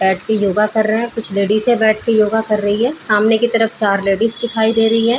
बैठ के योगा कर रहे है कुछ लेडीज हैं बैठ के योगा कर रही है सामने की तरफ चार लेडीज दिखाई दे रही हैं।